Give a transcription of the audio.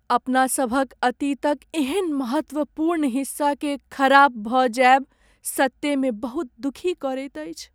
अपनासभक अतीतक एहन महत्वपूर्ण हिस्साकेँ खराप भऽ जायब सत्तेमे बहुत दुखी करैत अछि।